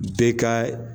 Bɛɛ ka